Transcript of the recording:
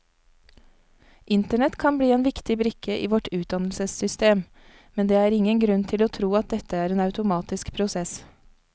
Internett kan bli en viktig brikke i vårt utdannelsessystem, men det er ingen grunn til å tro at dette er en automatisk prosess.